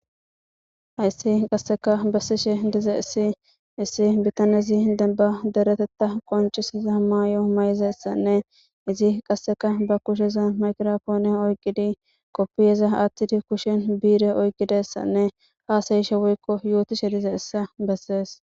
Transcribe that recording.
hayssi qasseka bassishe dizayssi issi bitaneizi demba deretetta qoncisesa ma yo may7izessanne izi qasseka ba kusheza makrofoone oyqqidi qoppiyeza aathtidi kushen biire oyqqidessanne haasayishe woykko yootishe dize issa bessees